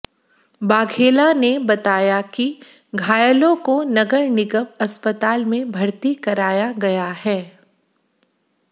वाघेला ने बताया कि घायलों को नगर निगम अस्पताल में भर्ती कराया गया है